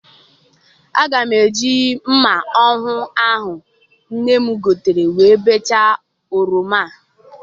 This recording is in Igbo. Aga m eji mma ọhụụ ahụ nne m gotere wee bechaa oroma.